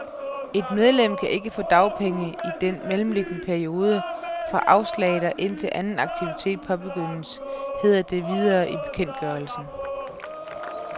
Et medlem kan ikke få dagpenge i den mellemliggende periode fra afslaget og indtil anden aktivitet påbegyndes, heder det videre i bekendtgørelsen.